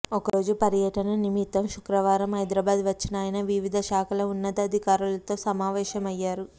ఒకరోజు పర్యటన నిమిత్తం శుక్రవారం హైదరాబాద్ వచ్చిన ఆయన వివిధ శాఖల ఉన్నతాధికారులతో సమావేశమయ్యారు